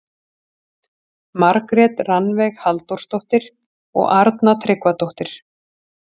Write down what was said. Margrét Rannveig Halldórsdóttir og Arna Tryggvadóttir.